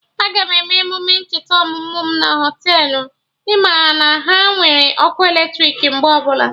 Aga m eme emume ncheta ọmụmụ mụ na Họtelụ, ị ma na ha nwere ọkụ eletrik mgbe ọbụla